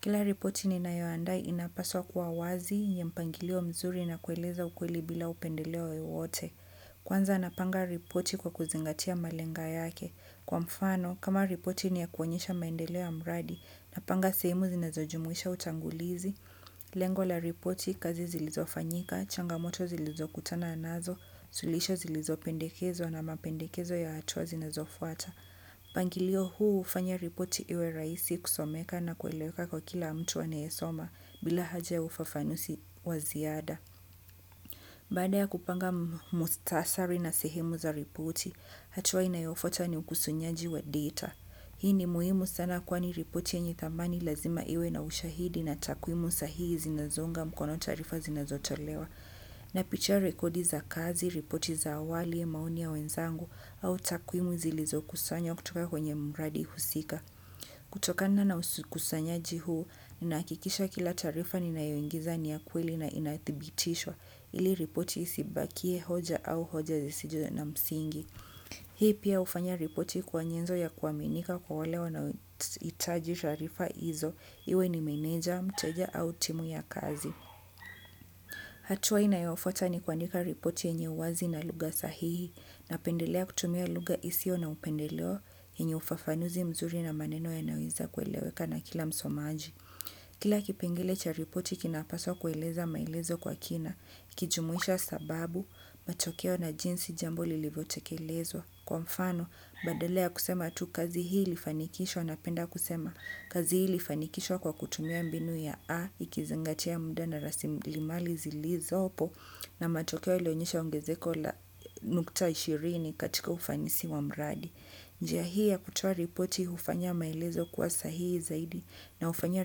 Kila ripoti ninayoandaa inapaswa kuwa wazi, yenye mpangilio mzuri na kueleza ukweli bila upendeleo wowote. Kwanza napanga ripoti kwa kuzingatia malenga yake. Kwa mfano, kama ripoti ni ya kuonyesha maendeleo ya mradi, napanga sehemu zinazojumuisha utangulizi. Lengo la ripoti, kazi zilizofanyika, changamoto zilizokutana nazo, suluhisho zilizopendekezwa na mapendekezo ya hatua zinazofuata. Mpangilio huu hufanya ripoti iwe rahisi kusomeka na kueleweka kwa kila mtu anayesoma bila haja ufafanuzi wa ziada. Baada ya kupanga muhtasari na sehemu za ripoti, hatua inayofuata ni ukusunyaji wa data. Hii ni muhimu sana kwani ripoti yenye thamani lazima iwe na ushahidi na takwimu sahihi zinazo unga mkono taarifa zinazotolewa. Napitia rekodi za kazi, ripoti za awali, maoni ya wenzangu au takwimu zilizo kusanywa kutoka kwenye mradi husika. Kutokana ukusanyaji huu, nahakikisha kila taarifa ninayoingiza ni ya kweli na inadhibitishwa ili ripoti isibakie hoja au hoja zisizo na msingi. Hii pia hufanya ripoti kuwa nyenzo ya kuaminika kwa wale wanaohitaji taarifa hizo, iwe ni meneja, mteja au timu ya kazi. Hatua inayofuta ni kuandika ripoti yenye wazi na lugha sahihi, napendelea kutumia lugha isiyo na upendeleo, yenye ufafanuzi mzuri na maneno yanaweza kueleweka na kila msomaji. Kila kipengele cha ripoti kinapaswa kueleza maelezo kwa kina, ikijumuisha sababu, matokeo na jinsi jambo lilivyotekelezwa. Kwa mfano, badala kusema tu kazi hii ilifanikishwa napenda kusema kazi hii ilifanikishwa kwa kutumia mbinu ya a, ikizingatia mjadala rasilimali zilizopo na matokeo yaliyoonyesha ongezeko la nukta ishirini katika ufanisi wa mradi. Njia hii ya kutoa ripoti hufanya maelezo kuwa sahihi zaidi na hufanya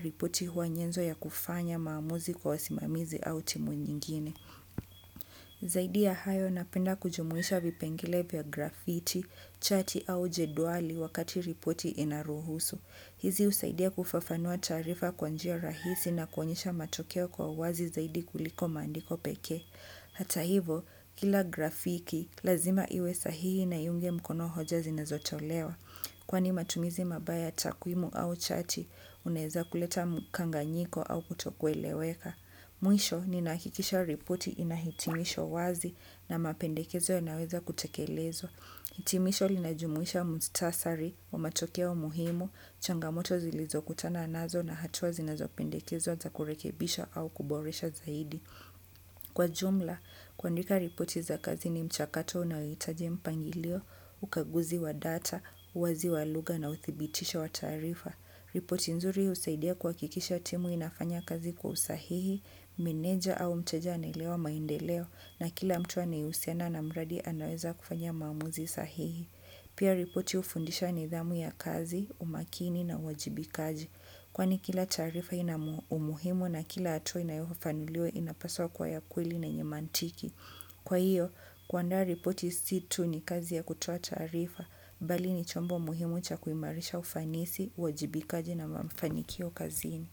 ripoti kuwa nyenzo ya kufanya maamuzi kwa wasimamizi au timu nyingine. Zaidi ya hayo napenda kujumuisha vipengele vya graffiti, chati au jedwali wakati ripoti inaruhusu. Hizi husaidia kufafanua taarifa kwa njia rahisi na kuonyesha matokeo kwa wazi zaidi kuliko maandiko pekee. Hata hivyo kila graffiti, lazima iwe sahihi na iunge mkono hoja zinazotolewa kwani matumizi mabaya ya takwimu au chati, unaeza kuleta mkanganyiko au kutokweleweka. Mwisho, ninakikisha ripoti ina hitimisho wazi na mapendekezo yanaweza kutekelezwa hitimisho, linajumuisha muhtasari wa matokeo muhimu, changamoto zilizokutana nazo na hatua zinazopendekezwa za kurekebisha au kuboresha zaidi. Kwa jumla, kwandika ripoti za kazi ni mchakato unaohitaji mpangilio, ukaguzi wa data, wazi wa lugha na uthibitisho wa taarifa. Ripoti nzuri husaidia kuhakikisha timu inafanya kazi kwa usahihi, meneja au mteja anaelewa maendeleo na kila mtu anayehusiana na mradi anaweza kufanya maamuzi sahihi. Pia ripoti hufundisha nidhamu ya kazi, umakini na uwajibikaji. Kwani kila taarifa ina umuhimu na kila hatua inayofafanuliwa inapaswa kuwa ya kweli na yenye mantiki. Kwa hiyo, kuandaa ripoti si tu ni kazi ya kutoa taarifa, mbali ni chombo muhimu cha kuimarisha ufanisi, uwajibikaji na mafanikio kazini.